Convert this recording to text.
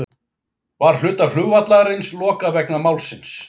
Var hluta flugvallarins lokað vegna málsins